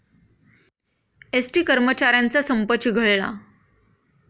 ST कर्मचाऱ्यांचा संप चिघळला